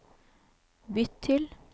bytt til